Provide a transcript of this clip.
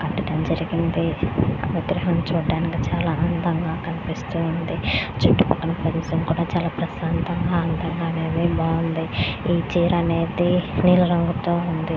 సముద్రం చూడడానికి చాలా అందంగా ఉంది చుట్టుపక్కన పరిసర కూడా చాలా ప్రశాంతంగా అందంగా ఉంది --